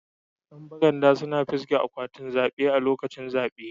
Yan baranda suna fisge akwatin zabe lokacin zabe.